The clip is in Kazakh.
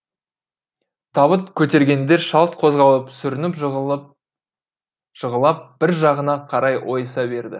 табыт көтергендер шалт қозғалып сүрініп жығылып бір жағына қарай ойыса берді